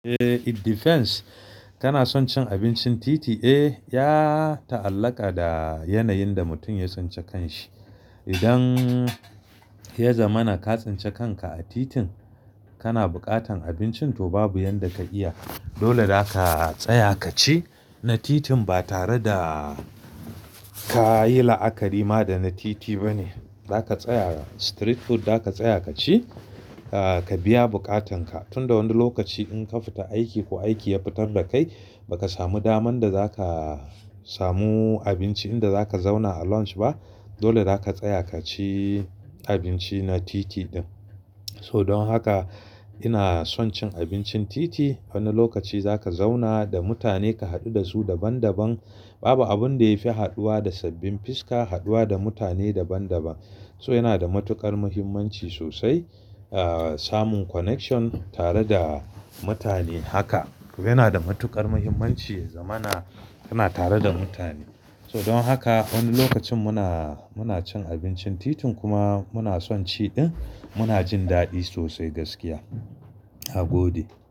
Eh, it depends. Kana son cin abincin titi? Eh, ya ta'allaƙa da yanayin da mutum ya tsinci kan shi. Idan ya zamana ka tsinci kanka a titin, kana buƙatan abincin to babu yanda ka iya. Dole zaka tsaya ka ci na titin ba tare da ka yi la'akari ma da na titi ba ne. Zaka tsaya, street food za ka tsaya ka ci, ka biya buƙatan ka. Tun da wani lokaci in ka fita aiki ko aiki ya fitar da kai, ba ka samu daman da za ka samu abinci inda za ka zauna a lounge ba, dole za ka tsaya ka ci abinci na titi ɗin. So don haka ina son cin abincin titi. Wani lokaci za ka zauna da mutane ka haɗu da su daban daban. Babu abin da ya fi haɗuwa da sabbin fiska, haɗuwa da mutane daban daban. So yana da matuƙar muhimmanci sosai, samun connection tare da mutane haka. Yana da matuƙar muhimmanci ya zamana kana tare da mutane. So don haka wani lokacin muna, muna cin abincin titin kuma muna son ciɗin. Muna jin daɗi sosai gaskiya. A gode.